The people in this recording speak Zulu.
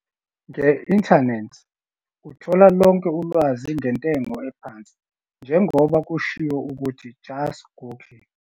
Nge-inthanethi uthola lonke ulwazi ngentengo ephansi njengoba kushiwo ukuthi just 'Google'.